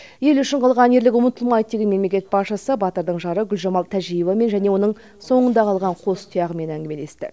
ел үшін қылған ерлік ұмытылмайды деген мемлекет басшысы батырдың жары гүлжамал тәжиевамен және оның соңында қалған қос тұяғымен әңгімелесті